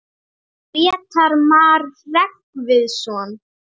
Grétar Mar Hreggviðsson.